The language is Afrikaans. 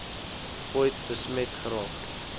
ooit besmet geraak